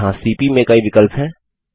यहाँ सीपी में कई विकल्प हैं